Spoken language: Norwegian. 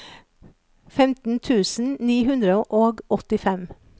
femten tusen ni hundre og åttifem